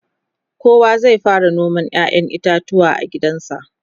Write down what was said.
kowa zai fara noman ƴaƴan itatuwa a gidansa